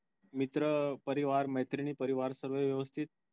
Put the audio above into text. मित्र परिवार मैत्रिणी परिवार सर्व व्यवस्थित